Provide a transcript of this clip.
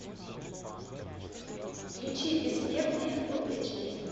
включи бессмертные фул эйч ди